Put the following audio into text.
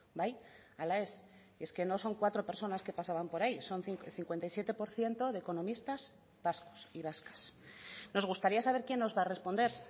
bai ala ez es que no son cuatro personas que pasaban por ahí son cincuenta y siete por ciento de economistas vascos y vascas nos gustaría saber quién nos va a responder